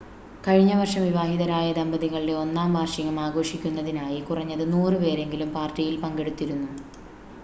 കഴിഞ്ഞ വർഷം വിവാഹിതരായ ദമ്പതികളുടെ ഒന്നാം വാർഷികം ആഘോഷിക്കുന്നതിനായി കുറഞ്ഞത് 100 പേരെങ്കിലും പാർട്ടിയിൽ പങ്കെടുത്തിരുന്നു